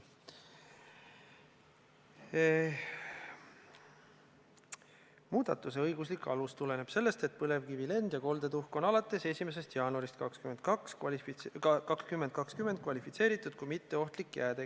Muudatuse õiguslik alus tuleneb sellest, et põlevkivi lend- ja koldetuhk on alates 1. jaanuarist 2020 kvalifitseeritud kui mitteohtlik jääde.